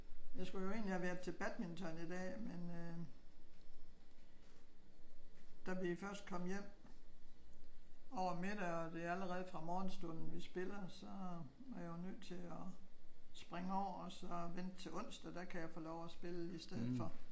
Jeg skulle jo egentlig have været til badminton i dag men øh da vi først kom hjem over middag og det allerede er fra morgenstuden vi spiller så er jeg jo nødt til at springe over og vente til onsdag. Der kan jeg få lov til at spille i stedet for